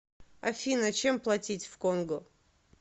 афина чем платить в конго